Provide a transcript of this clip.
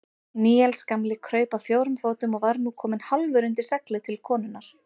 Níels gamli kraup á fjórum fótum og var nú kominn hálfur undir seglið til konunnar.